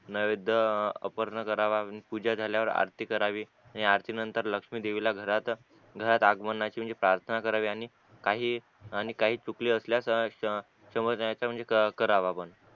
नारद अपर्ण करावा पूजा झाल्यावर आरती करावी आणि या आरती नंतर लक्ष्मी देवीला घरात घरात आगमनाची म्हणजे प्रार्थना करावी आणि काही सुकली असल्यास करावा